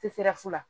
Te se ka fu la